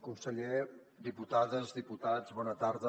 conseller diputades diputats bona tarda